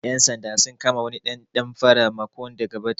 Ƴan sanda sun kama wani ɗan damfara makon da ya gabata